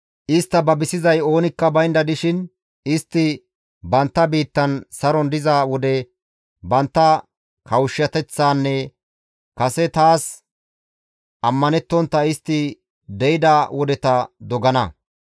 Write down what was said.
Istta babisiza oonikka baynda dishin istti bantta biittan saron diza wode bantta kawushshateththaanne kase taas ammanettontta istti de7ida wodeta dogana.